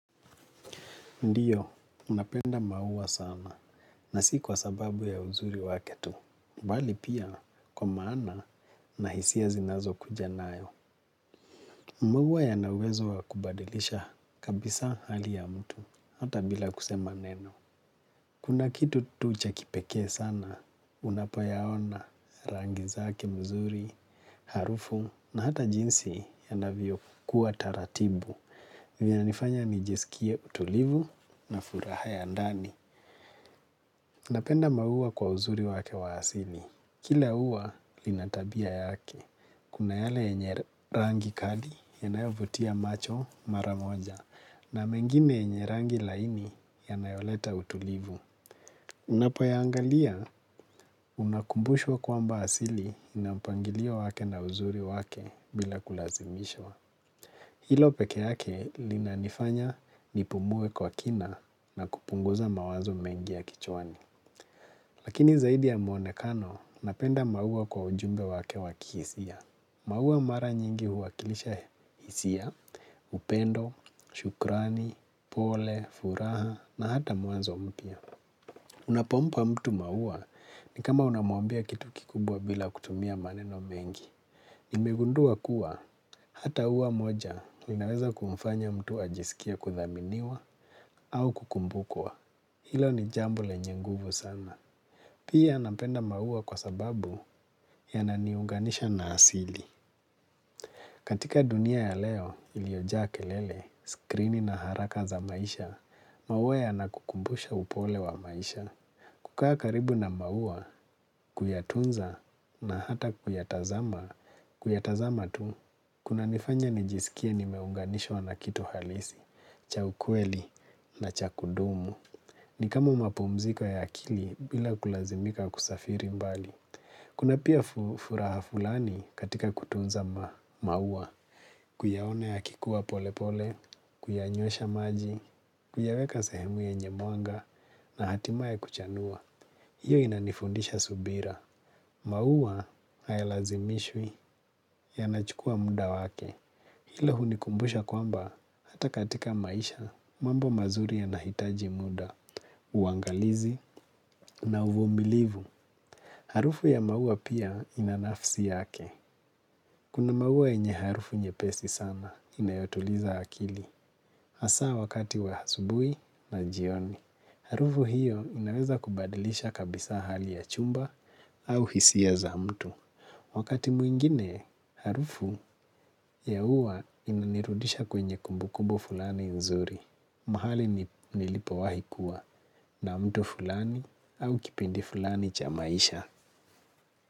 Ndiyo, ninapenda maua sana, na si kwa sababu ya uzuri wake tu, mbali pia kwa maana na hisia zinazo kuja nayo. Maua yana uwezo wa kubadilisha kabisa hali ya mtu, hata bila kusema neno. Kuna kitu tu cha kipekee sana, unapoyaona rangi zake mzuri, harufu, na hata jinsi yanavyo kuwa taratibu. Vinanifanya nijisikie utulivu na furaha ya ndani. Napenda maua kwa uzuri wake wa asili. Kila ua lina tabia yake. Kuna yale yenye rangi kali yanayovutia macho mara moja. Na mengine yenye rangi laini yanayoleta utulivu. Unapoyaangalia unakumbushwa kwamba asili ina mpangilio wake na uzuri wake bila kulazimishwa. Hilo peke yake linanifanya nipumue kwa kina na kupunguza mawazo mengi ya kichawani. Lakini zaidi ya mwonekano napenda maua kwa ujumbe wake wa kihisia. Maua mara nyingi huwakilisha hisia, upendo, shukrani, pole, furaha na hata mwanzo mpya. Unapompa mtu maua ni kama unamwambia kitu kikubwa bila kutumia maneno mengi. Nimegundua kuwa hata ua moja linaweza kumfanya mtu ajisikia kuthaminiwa au kukumbukwa. Hilo ni jambo lenye nguvu sana. Pia napenda maua kwa sababu yananiunganisha na asili. Katika dunia ya leo iliyojaa kelele, skrini na haraka za maisha, maua yanakukumbusha upole wa maisha. Kukaa karibu na maua, kuyatunza na hata kuyatazama, kuyatazama tu, kunanifanya nijisikie nimeunganishwa na kitu halisi, cha ukweli na cha kudumu. Ni kama mapumziko ya akili bila kulazimika kusafiri mbali. Kuna pia furaha fulani katika kutunza maua, kuyaona yakikua pole pole, kuyanywesha maji, kuyaweka sehemu yenye mwanga na hatimaye kuchanua. Hiyo inanifundisha subira. Maua hayalazimishwi yanachukua muda wake. Hilo hunikumbusha kwamba hata katika maisha mambo mazuri yanahitaji muda, uangalizi na uvumilivu. Harufu ya maua pia ina nafsi yake. Kuna maua yenye harufu nyepesi sana inayotuliza akili. Hasa wakati wa asubui na jioni. Harufu hiyo inaweza kubadilisha kabisa hali ya chumba au hisia za mtu. Wakati mwingine, harufu ya ua inanirudisha kwenye kumbukumbu fulani nzuri. Mahali nilipowahi kuwa na mtu fulani au kipindi fulani cha maisha.